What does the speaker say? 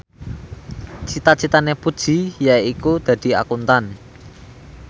cita citane Puji yaiku dadi Akuntan